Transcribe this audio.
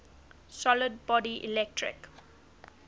solid body electric